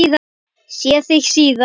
Sé þig síðar.